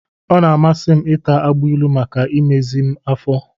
Ọ na-amasị m ịta agbailu maka imezi m afọ.